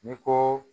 Ni ko